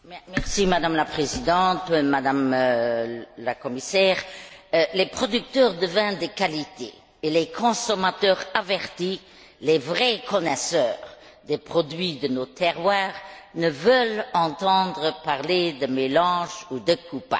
Madame la Présidente, Madame la Commissaire, les producteurs de vins de qualité et les consommateurs avertis, les vrais connaisseurs des produits de nos terroirs, ne veulent pas entendre parler de mélange ou de coupage.